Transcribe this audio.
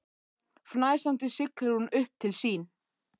Fnæsandi siglir hún upp til sín.